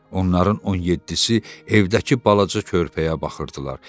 Onların 17-si evdəki balaca körpəyə baxırdılar.